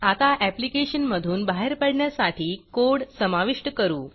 आता ऍप्लिकेशन मधून बाहेर पडण्यासाठी कोड समाविष्ट करू